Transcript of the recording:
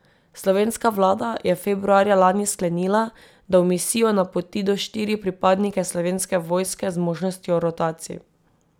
Slovenska vlada je februarja lani sklenila, da v misijo napoti do štiri pripadnike Slovenske vojske z možnostjo rotacij.